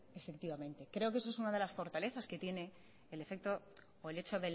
efectivamente creo que eso es una de las fortalezas que tiene el efecto o el hecho